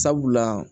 Sabula